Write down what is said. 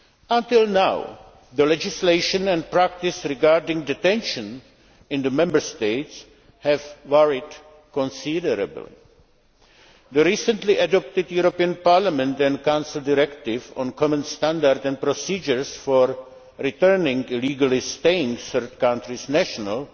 Until now, the legislation and practice regarding detention in the Member States has varied considerably. The recently adopted European Parliament and Council Directive on common standards and procedures for returning illegally staying third country nationals